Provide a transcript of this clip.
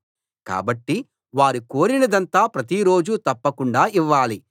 కాబట్టి వారు కోరినదంతా ప్రతిరోజూ తప్పకుండా ఇవ్వాలి